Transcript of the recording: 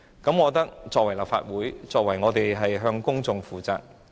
我覺得作為立法會議員是需要向公眾負責的。